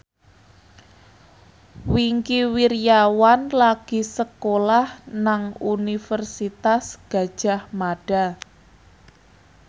Wingky Wiryawan lagi sekolah nang Universitas Gadjah Mada